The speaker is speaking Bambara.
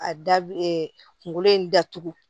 A da kungolo in datugu